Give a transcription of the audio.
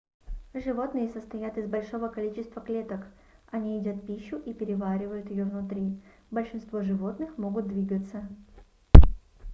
животные состоят из большого количества клеток они едят пищу и переваривают её внутри большинство животных могут двигаться